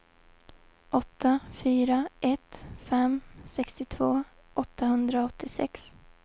åtta fyra ett fem sextiotvå åttahundraåttiosex